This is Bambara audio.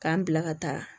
K'an bila ka taa